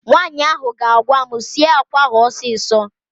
Nwaanyị ahụ ga-agwa m, sie àkwá ahụ ọsịsọ!